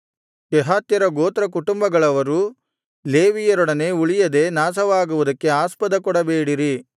ಕೆಹಾತ್ಯರ ಗೋತ್ರಕುಟುಂಬಗಳವರು ಲೇವಿಯರೊಡನೆ ಉಳಿಯದೆ ನಾಶವಾಗುವುದಕ್ಕೆ ಆಸ್ಪದಕೊಡಬೇಡಿರಿ